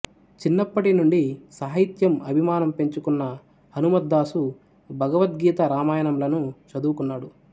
చిన్నప్పటినుండి సాహిత్యం అభిమానం పెంచుకున్న హనుమద్దాసు భగవద్గీత రామాయణంలను చదువుకున్నాడు